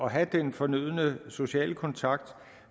have den fornødne sociale kontakt